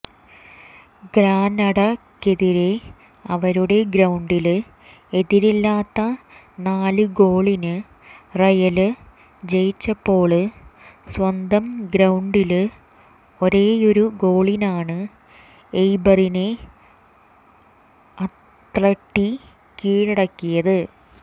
ഗ്രനഡക്കെതിരെ അവരുടെ ഗ്രൌണ്ടില് എതിരില്ലാത്ത നാലു ഗോളിന് റയല് ജയിച്ചപ്പോള് സ്വന്തം ഗ്രൌണ്ടില് ഒരേയൊരു ഗോളിനാണ് എയ്ബറിനെ അത്ലറ്റി കീഴടക്കിയത്